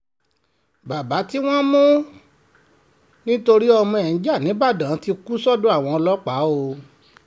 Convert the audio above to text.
baba tí wọ́n mú nítorí wọn lọmọ ẹ̀ ń ja nígbàdàn ti kú sọ́dọ̀ àwọn ọlọ́pàá o